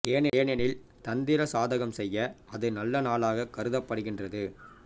ஏனெனில் தந்திர சாதகம் செய்ய அது நல்ல நாளாக கருதப்படுகின்றது